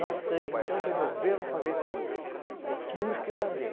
Nós três, então, resolvemos fazer como tínhamos que fazer.